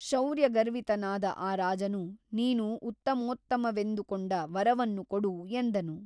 ಶೌರ್ಯಗರ್ವಿತನಾದ ಆ ರಾಜನು ನೀನು ಉತ್ತಮೋತ್ತಮವೆಂದುಕೊಂಡ ವರವನ್ನು ಕೊಡು ಎಂದನು.